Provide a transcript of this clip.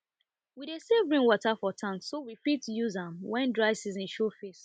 we dey save rainwater for tank so we fit use fit use am when dry season show face